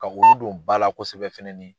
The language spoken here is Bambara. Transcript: Ka olu don ba la kosɛbɛ fɛnɛ ni.